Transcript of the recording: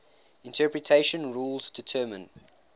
interpretation rules determine